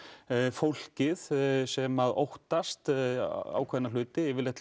fólkið sem að óttast ákveðna hluti yfirleitt